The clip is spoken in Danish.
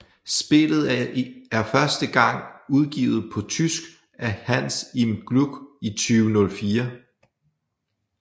Spillet er første gang udgivet på tysk af Hans im Glück i 2004